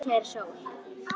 Úti er sól og sumar.